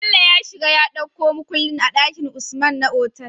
Bello ya shiga ya ɗauko mukulli a dakin usman na otal